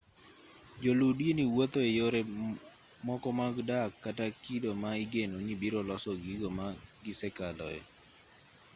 joluu dini wuotho eyore moko mag dak kata kido ma igeno ni biro loso gigo ma gisekaloe